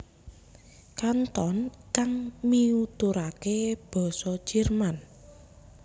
Kanton kang miuturake basa Jerman